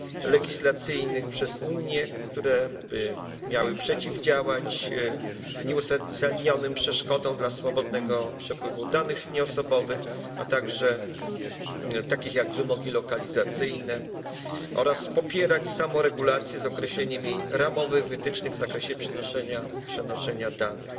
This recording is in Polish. legislacyjnych przez Unię, które miały przeciwdziałać nieuzasadnionym przeszkodom dla swobodnego przepływu danych nieosobowych, a także takich jak wymogi lokalizacyjne, oraz popierać samoregulację z określeniem jej ramowych wytycznych w zakresie przenoszenia danych.